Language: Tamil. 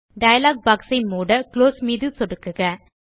டயலாக் பாக்ஸ் ஐ மூட குளோஸ் மீது சொடுக்குக